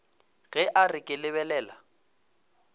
ge a re ke lebelela